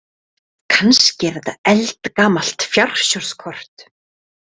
Kannski er þetta eldgamalt fjársjóðskort.